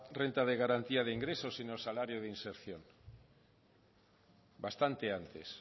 renta de garantía de ingresos sino salario de inserción bastante antes